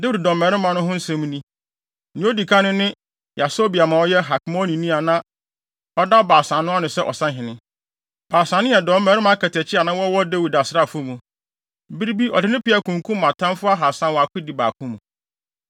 Dawid dɔmmarima no ho nsɛm ni: Nea odi kan no ne Yasobeam a ɔyɛ Hakmonini a na ɔda Baasa no ano sɛ ɔsahene—Baasa no yɛ dɔmmarima akatakyi a na wɔwɔ Dawid asraafo mu. Bere bi ɔde ne peaw kunkum atamfo ahaasa wɔ akodi baako mu.